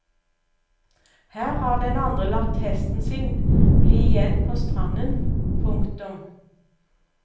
Her har den andre latt hesten sin bli igjen på stranden. punktum